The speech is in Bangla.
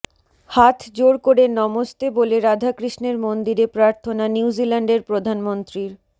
হাত জোড় করে নমস্তে বলে রাধাকৃষ্ণের মন্দিরে প্রার্থনা নিউজিল্যান্ডের প্রধানমন্ত্রীর